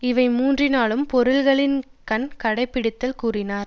இவை மூன்றினாலும் பொருளின்கண் கடைப்பிடித்தல் கூறினார்